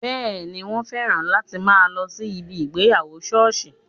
Bẹẹni, wọn féràn láti máa lọ sí ibi ìgbéyàwó sọ́ọ̀sì